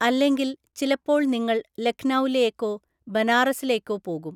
അല്ലെങ്കിൽ, ചിലപ്പോൾ നിങ്ങൾ ലഖ്നൗയിലേക്കോ ബനാറസിലേക്കോ പോകും.